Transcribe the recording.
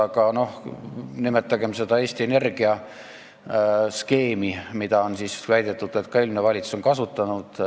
Aga nimetagem seda Eesti Energiaga seotud skeemi, mille kohta on väidetud, et ka eelmine valitsus on seda kasutanud.